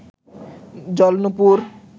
জল নূপুর